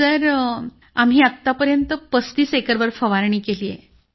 sir आम्ही आतापर्यंत 35 एकरवर फवारणी केली आहे